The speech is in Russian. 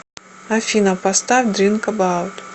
афина поставь дринк эбаут